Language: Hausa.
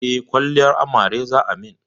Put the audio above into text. Eh, kwalliyar amare za a min